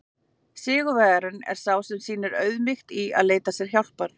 Sigurvegarinn er sá sem sýnir auðmýkt í að leita sér hjálpar!